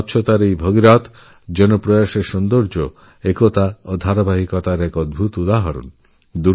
স্বচ্ছতার জন্য এই ভগীরথ প্রয়াসসৌন্দর্য দলবদ্ধতা ও ক্রমাণ্বয়তার এক অদ্ভুত উদাহরণ